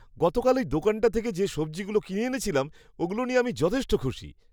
গতকাল ওই দোকানটা থেকে যে সবজিগুলো কিনে এনেছিলাম, ওগুলো নিয়ে আমি যথেষ্ট খুশি।